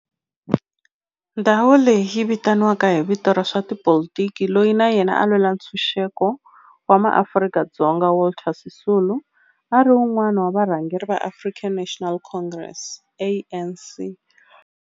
Ndhawo leyi yi vitaniwa hi vito ra n'watipolitiki loyi na yena a lwela ntshuxeko wa maAfrika-Dzonga Walter Sisulu, a ri wun'wana wa varhangeri va African National Congress, ANC.